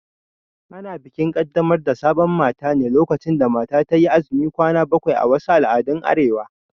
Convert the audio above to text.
Ana bikin Kaddamar da sabon mata ne lokacin da mata tayi azumin kwana bakwai a wasu al'adun Arewa